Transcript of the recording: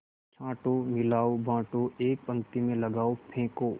छाँटो मिलाओ बाँटो एक पंक्ति में लगाओ फेंको